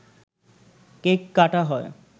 cake কাটা হয়